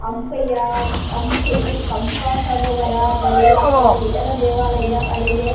ಹಂಪೆಯ ಹಂಪೆ ಪಂಪ ಸರೋವರ ಬಳಿ ಅಥವ ವಿಠ್ಠಲ ದೇವಾಲಯವಿದೆ ಅಡಿಗೆ --